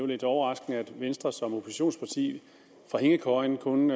lidt overraskende at venstre som oppositionsparti fra hængekøjen kun